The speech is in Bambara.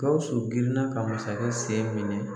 Gawusu girin na ka masakɛ sen minɛ.